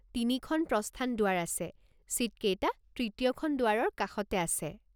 তিনিখন প্ৰস্থান দুৱাৰ আছে, ছিটকেইটা তৃতীয়খন দুৱাৰৰ কাষতে আছে।